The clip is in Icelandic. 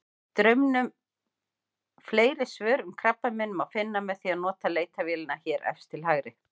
Fleiri svör um krabbamein má finna með því að nota leitarvélina hér efst til hægri.